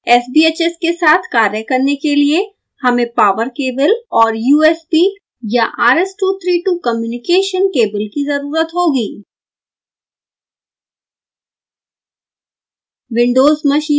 sbhs के साथ कार्य करने के लिए हमें पॉवर केबल और usb/rs232 कम्युनिकेशन केबल की ज़रुरत होगी